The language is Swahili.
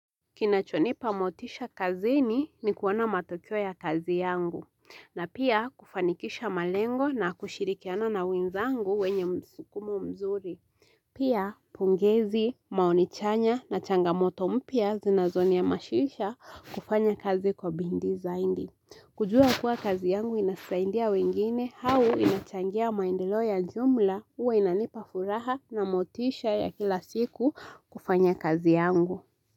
Kinachonipa motisha kazini ni kuona matokeo ya kazi yangu, na pia kufanikisha malengo na kushirikiana na wenzangu wenye msukumo mzuri. Pia pongezi, maoni chanya na changamoto mpya zinazoniamazisha kufanya kazi kwa bidii zaidi. Kujua kuwa kazi yangu inasaidia wengine, au inachangia maendelo ya jumla huwa inanipa furaha na motisha ya kila siku kufanya kazi yangu.